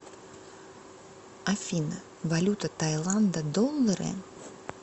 афина валюта таиланда доллары